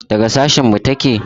Daga sashen mu take?